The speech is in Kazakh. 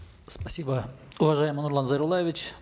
спасибо уважаемый нурлан зайроллаевич